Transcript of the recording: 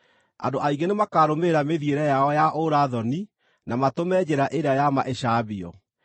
Andũ aingĩ nĩmakarũmĩrĩra mĩthiĩre yao ya ũũra-thoni na matũme njĩra ĩrĩa ya ma ĩcambio.